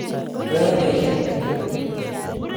Oyoe poisyet ingoro?